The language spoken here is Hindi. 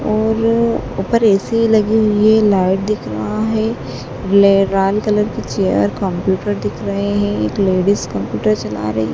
और ऊपर ए_सी लगी हुई है लाइट दिख रहा है ले लाल कलर की चेयर कंप्यूटर दिख रहे हैं एक लेडिस कंप्यूटर चला रही--